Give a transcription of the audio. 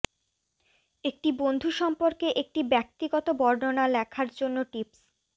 একটি বন্ধু সম্পর্কে একটি ব্যক্তিগত বর্ণনা লেখার জন্য টিপস